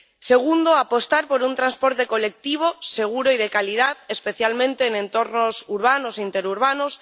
Segundo, apostar por un transporte colectivo seguro y de calidad, especialmente en entornos urbanos e interurbanos.